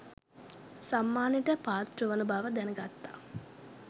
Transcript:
සම්මානයට පාත්‍රවන බව දැන ගත්තා